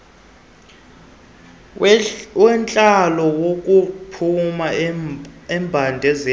wentlalo wokuphuma embandezelweni